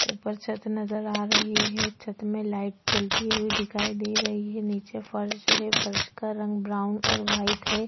ऊपर छत नजर आ रही है छत में लाइट जलती हुई दिखाई दे रही है नीचे फर्श है फर्श का रंग ब्राउन और व्हाईट है।